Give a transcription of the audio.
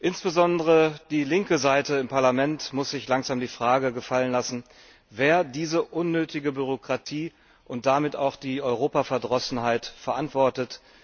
Insbesondere die linke Seite im Parlament muss sich langsam die Frage gefallen lassen, wer diese unnötige Bürokratie und damit auch die Europaverdrossenheit verantwortet.